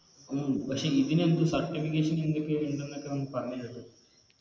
ഉം പക്ഷെ ഇതിന് എന്ത് Certification എന്തൊക്കെയോ ഇണ്ടെന്നൊക്കെ നമ് പറഞ്ഞു കേട്ട്